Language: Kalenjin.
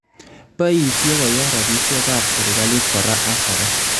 Bayiisye koya rabisiekaab serikaliit kora ak kora